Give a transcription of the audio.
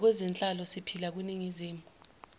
nakwezenhlalo siphila kwiningizimu